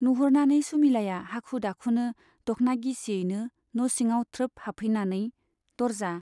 नुहुरनानै सुमिलाया हाखु दाखुनो दख्ना गिसियैनो न' सिङाव थ्रोब हाबफैनानै दर्जा